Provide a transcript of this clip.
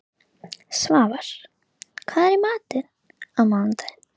Svafar, hvað er í matinn á mánudaginn?